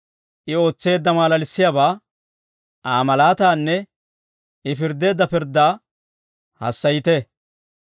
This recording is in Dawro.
I ootseedda malalissiyaabaa, Aa malaataanne I pirddeedda pirddaa hassayite.